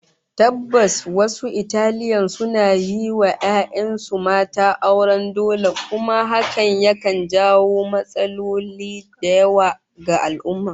Tabbas wasu Italian suna yin wa 'ya'yan su mata auren dole kuma hakan yakan jawo matsaloli da yawa ga al'ummah